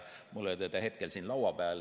Mul ei ole seda hetkel siin laua peal.